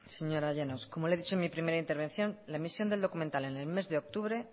señora llanos como le he dicho en mi primera intervención la emisión del documental en el mes de octubre